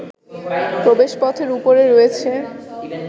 প্রবেশপথের উপরে রয়েছে